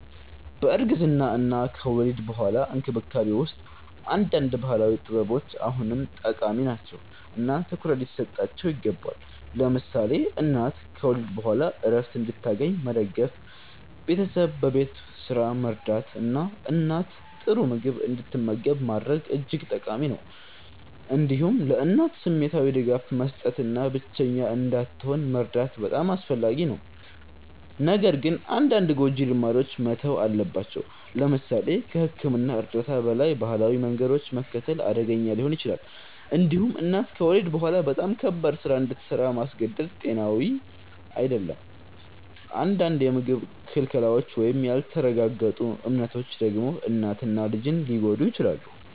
በእርግዝና እና ከወሊድ በኋላ እንክብካቤ ውስጥ አንዳንድ ባህላዊ ጥበቦች አሁንም ጠቃሚ ናቸው እና ትኩረት ሊሰጣቸው ይገባል። ለምሳሌ እናት ከወሊድ በኋላ ዕረፍት እንድታገኝ መደገፍ፣ ቤተሰብ በቤት ስራ መርዳት እና እናት ጥሩ ምግብ እንድትመገብ ማድረግ እጅግ ጠቃሚ ነው። እንዲሁም ለእናት ስሜታዊ ድጋፍ መስጠት እና ብቸኛ እንዳትሆን መርዳት በጣም አስፈላጊ ነው። ነገር ግን አንዳንድ ጎጂ ልማዶች መተው አለባቸው። ለምሳሌ ከሕክምና እርዳታ በላይ ባህላዊ መንገዶችን መከተል አደገኛ ሊሆን ይችላል። እንዲሁም እናት ከወሊድ በኋላ በጣም ከባድ ስራ እንድሰራ ማስገደድ ጤናዊ አይደለም። አንዳንድ የምግብ ክልከላዎች ወይም ያልተረጋገጡ እምነቶች ደግሞ እናትን እና ልጅን ሊጎዱ ይችላሉ።